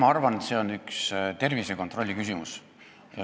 Ma arvan, et see on tervisekontrolli küsimus.